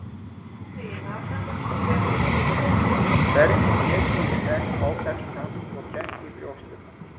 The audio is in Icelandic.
Hvernig get ég í senn áfellst hann og kennt í brjósti um hann?